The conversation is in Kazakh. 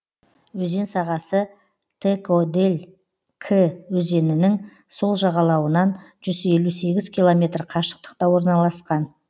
өзен сағасы тэкодель кы өзенінің сол жағалауынан жүз елу сегіз километр қашықтықта орналасқан